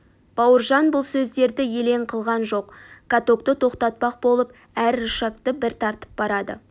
бауыржан бұл сөздерді елең қылған жоқ катокты тоқтатпақ болып әр рычагты бір тартып барады